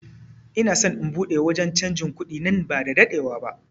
Ina son in buɗe wanje canjin kuɗi nan ba da daɗewa ba